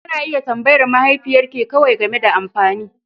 Kena iya tambayar mahaifiyar ke kawai game da amfani.